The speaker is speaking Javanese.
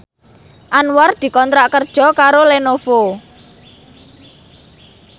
Anwar dikontrak kerja karo Lenovo